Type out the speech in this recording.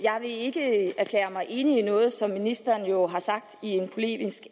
vil ikke erklære mig enig i noget som ministeren jo har sagt i en polemisk